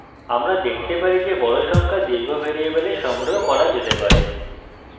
আমরা দেখতে পারি যে বড় সংখ্যা দীর্ঘ ভ্যারিয়েবলে সংগ্রহ করা যেতে পারে